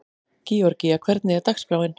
Georgía, hvernig er dagskráin?